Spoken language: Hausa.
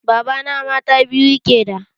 Babana mata biyu yake da.